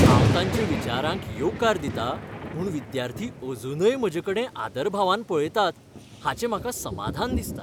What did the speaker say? हांव तांच्या विचारांक येवकार दितां म्हूण विद्यार्थी अजूनय म्हजेकडेन आदरभावान पळयतात हाचें म्हाका समाधान दिसता.